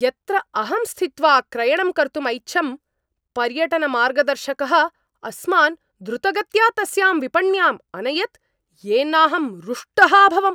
यत्र अहं स्थित्वा क्रयणं कर्तुम् ऐच्छं, पर्यटनमार्गदर्शकः अस्मान् द्रुतगत्या तस्यां विपण्याम् अनयत् येनाहं रुष्टः अभवम्।